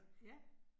Ja